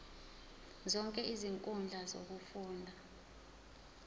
zonke izinkundla zokufunda